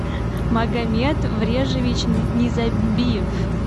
магомед врежевич незамбиев